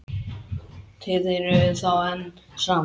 Þið eruð þá enn saman?